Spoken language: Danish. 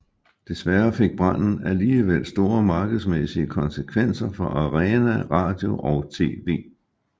Desværre fik branden alligevel store markedsmæssige konsekvenser for Arena Radio og TV